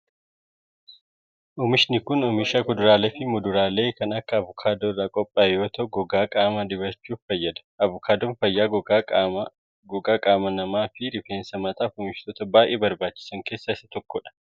Oomishni kun, oomisha kuduraalee fi muduraalee kan akka avokaadoo irraa qophaa'ee yoo ta'u, gogaa qaamaa dibachuuf fayyada. Avokaadoon fayyaa gogaa qaama namaa fi rifeensa mataaf oomishoota baay'ee barbaachisan keessaa isa tokko dha.